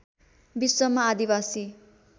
विश्वमा आदिवासी